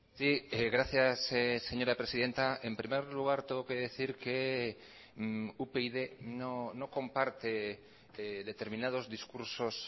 sí gracias señora presidenta en primer lugar tengo que decir que upyd no comparte determinados discursos